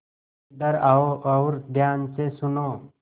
इधर आओ और ध्यान से सुनो